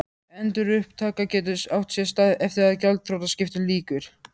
Endurupptaka getur átt sér stað eftir að gjaldþrotaskiptum lýkur.